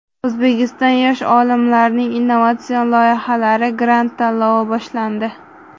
O‘zbekistonda yosh olimlarning innovatsion loyihalari grant tanlovi boshlandi.